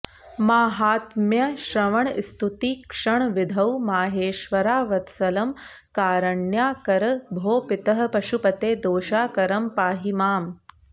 माहात्म्यश्रवणस्तुतीक्षणविधौ माहेश्वरावत्सलं कारण्याकर भो पितः पशुपते दोषाकरं पाहि माम्